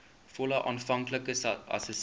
volle aanvanklike assessering